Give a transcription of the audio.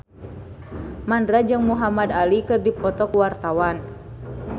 Mandra jeung Muhamad Ali keur dipoto ku wartawan